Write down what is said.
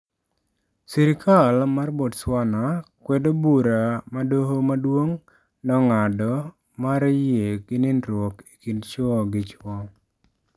Sirkal mar Botswana kwedo bura ma doho maduong' nong'ado mar yie gi nindruok e kind chwo gi chwo